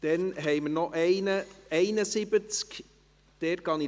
Dann haben wir noch das Traktandum 71.